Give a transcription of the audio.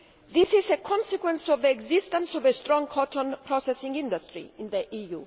This is a consequence of the existence of a strong cotton processing industry in the EU.